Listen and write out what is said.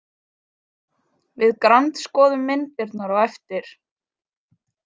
Við grandskoðum myndirnar á eftir.